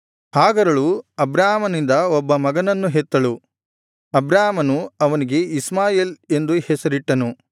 ಹಾಗರಳು ಅಬ್ರಾಮನಿಂದ ಒಬ್ಬ ಮಗನನ್ನು ಹೆತ್ತಳು ಅಬ್ರಾಮನು ಅವನಿಗೆ ಇಷ್ಮಾಯೇಲ್ ಎಂದು ಹೆಸರಿಟ್ಟನು